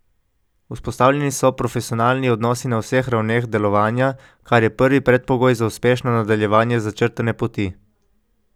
Vzpostavljeni so profesionalni odnosi na vseh ravneh delovanja, kar je prvi predpogoj za uspešno nadaljevanje začrtane poti.